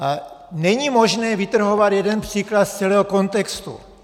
Není možné vytrhovat jeden příklad z celého kontextu.